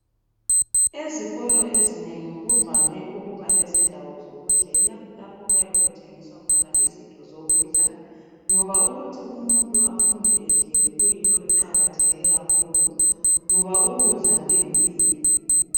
Ezikolo ezinengi kuvame ukuba lezindawo zokudlela lapho okuyabe kuthengiswa khona izinto zokudla ngoba ukuthi umuntu afunde edlile kuyinto eqakatheke kakhulu ngoba ukudla kuyimpilo.